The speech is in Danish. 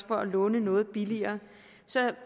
for at låne noget billigere så